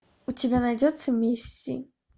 у тебя найдется мисси